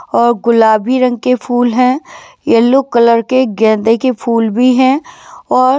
औ गुलाबी रंग के फूल है येलो कलर के गेदे के फूल भी है और--